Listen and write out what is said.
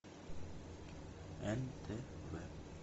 нтв